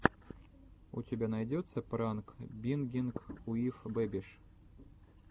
у тебя найдется пранк бингинг уив бэбиш